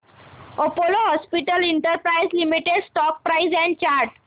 Apollo hospitals enterprise limited stock price and chart